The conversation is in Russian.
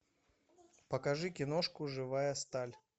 покажи киношку живая сталь